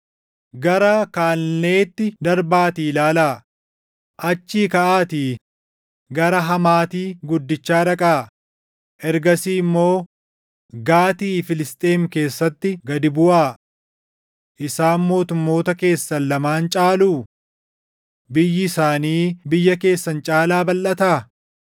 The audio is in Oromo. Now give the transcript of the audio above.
Gara Kaalneetti darbaatii ilaalaa; achii kaʼaatii gara Hamaati guddichaa dhaqaa; ergasii immoo Gaati Filisxeem keessaatti gad buʼaa. Isaan mootummoota keessan lamaan caaluu? Biyyi isaanii biyya keessan caalaa balʼataa?